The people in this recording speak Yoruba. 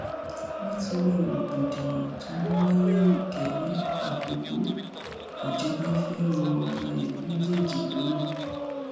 nítorí rògbòdìyàn tó ń wáyé nìkéré àkókò ìjọba fẹẹ rọ ọba ìlú méjèèjì lóyè